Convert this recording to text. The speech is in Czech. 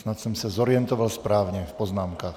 Snad jsem se zorientoval správně v poznámkách.